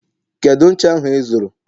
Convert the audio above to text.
Kedu ncha ahụ ịzụrụ